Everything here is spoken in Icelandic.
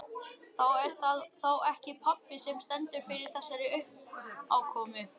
Það er þá ekki pabbi sem stendur fyrir þessari uppákomu.